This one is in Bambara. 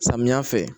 Samiya fɛ